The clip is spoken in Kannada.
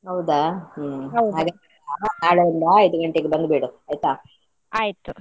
ಹೌದಾ ಹ್ಮ್‌ ನಾಳೆಯಿಂದ ಐದು ಗಂಟೆಗೆ ಬಂದ್ಬಿಡು ಆಯ್ತಾ .